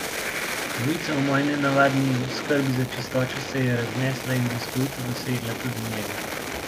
Novica o moji nenavadni skrbi za čistočo se je raznesla in bliskovito dosegla tudi njega.